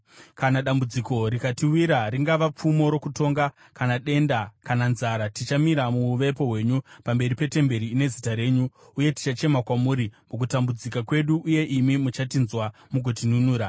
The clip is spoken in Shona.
‘Kana dambudziko rikatiwira, ringava pfumo rokutonga kana denda, kana nzara, tichamira muuvepo hwenyu pamberi petemberi ine Zita renyu, uye tichachema kwamuri mukutambudzika kwedu uye imi muchatinzwa mugotinunura.’